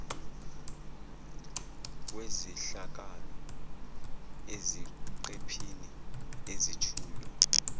wezehlakalo eziqephini ezethulwe